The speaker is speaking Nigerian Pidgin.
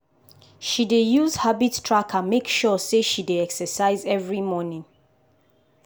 she dey use habit tracker make sure say she dey exercise every morning.